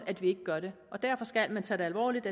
at vi ikke gør det derfor skal man tage det alvorligt